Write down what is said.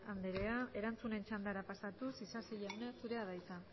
anderea erantzunen txandara pasatuz isasi jauna zurea da hitza